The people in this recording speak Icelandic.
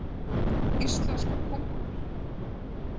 Íslenskar köngulær.